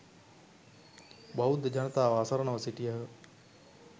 බෞද්ධ ජනතාව අසරණව සිටියහ.